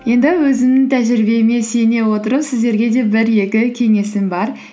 енді өзімнің тәжірибеме сүйене отырып сіздерге де бір екі кеңесім бар